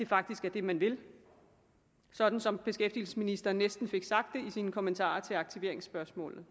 faktisk er det man vil sådan som beskæftigelsesministeren næsten fik sagt det i sine kommentarer til aktiveringsspørgsmålet